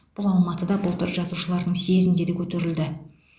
бұл алматыда былтыр жазушылардың съезінде де көтерілді